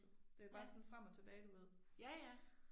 Ja. Ja ja